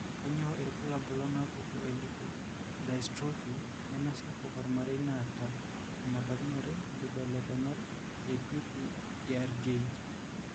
Kainyio irbulabul onaapuku elipodystrophy nemesapuk ormarei naata enebaikinore inkibelekenyat ePPARGe.